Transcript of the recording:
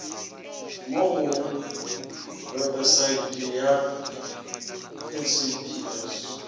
mo go webesaete ya saps